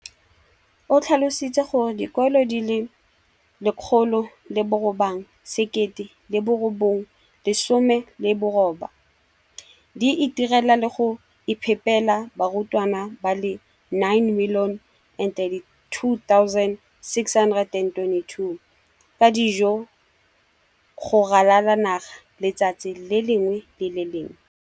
O tlhalositse gore dikolo di le 20 619 di itirela le go iphepela barutwana ba le 9 032 622 ka dijo go ralala naga letsatsi le lengwe le le lengwe.